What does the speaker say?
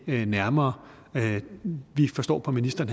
nærmere vi forstår på ministeren